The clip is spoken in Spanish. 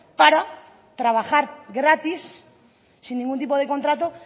para trabajar gratis sin ningún tipo de contrato